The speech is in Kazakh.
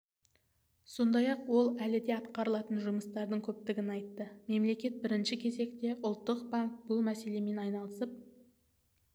сондай-ақ ол әлі де атқарылатын жұмыстардың көптігін айтты мемлекет бірінші кезекте ұлттық банк бұл мәселемен айналысып